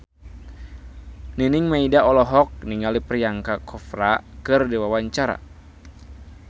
Nining Meida olohok ningali Priyanka Chopra keur diwawancara